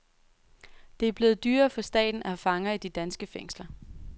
Det er blevet dyrere for staten at have fanger i de danske fængsler.